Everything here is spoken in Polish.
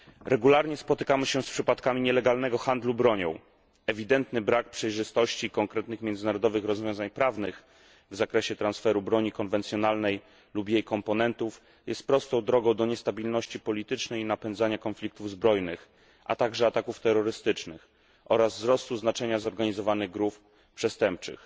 Regularnie spotykamy się z przypadkami nielegalnego handlu bronią. Ewidentny brak przejrzystości, konkretnych międzynarodowych rozwiązań prawnych w zakresie transferu broni konwencjonalnej lub jej komponentów, jest prostą drogą do niestabilności politycznej i napędzania konfliktów zbrojnych, a także ataków terrorystycznych oraz wzrostu znaczenia zorganizowanych grup przestępczych.